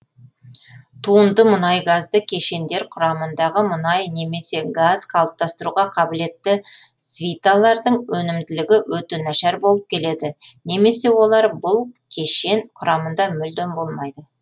туынды мұнайгазды кешендер құрамындағы мұнай немесе газ қалыптастыруға қабілетті свиталардың өнімділігі өте нашар болып келеді немесе олар бүл кешен құрамында мүлдем болмайды